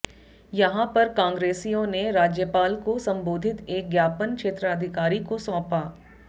यहां पर कांग्रेसियों ने राज्यपाल को संबोधित एक ज्ञापन क्षेत्राधिकारी को सौंपा